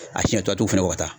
A siɲɛ tɔ